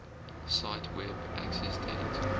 cite web accessdate